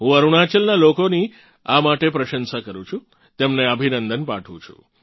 હું અરુણાચલનાં લોકોની આ માટે પ્રશંસા કરું છું તેમને અભિનંદન પાઠવું છું